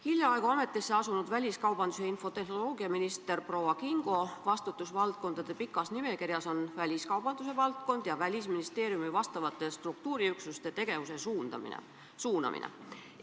Hiljaaegu ametisse asunud väliskaubandus- ja infotehnoloogiaminister proua Kingo vastutusvaldkondade pikas nimekirjas on väliskaubandusvaldkond ja Välisministeeriumi vastavate struktuuriüksuste tegevuse suunamine.